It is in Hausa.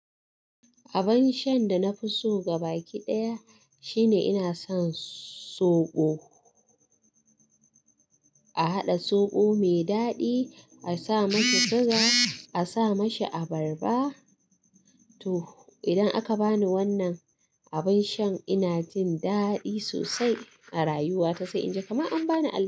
Abin shan da na fi so gabaɗaya shine ina son soɓo. A haɗa soɓo mai daɗi, a sa masa sugar, a sa mishi abarba, to idan aka bani wannan abin shan ina jin daɗi sosai a rayuwa ta sai in ji kamar an bani alheri.